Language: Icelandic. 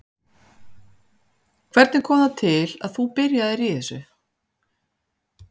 Hvernig kom það til að þú byrjaðir í þessu?